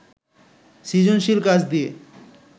সৃজনশীল কাজ দিয়ে